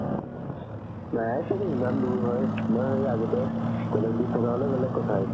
নাই চাগে ইমান দুৰ হয় আগতে college থকা হ'লে বেলেগ কথা আছিল